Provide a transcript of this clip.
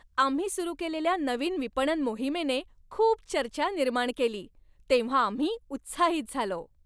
आम्ही सुरू केलेल्या नवीन विपणन मोहिमेने खूप चर्चा निर्माण केली तेव्हा आम्ही उत्साहित झालो.